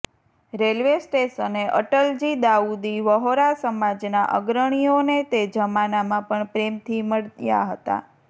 railway સ્ટેશને અટલજી દાઉદી વ્હોરા સમાજના અગ્રણીઓને તે જમાનામાં પણ પ્રેમથી મળ્યા હતા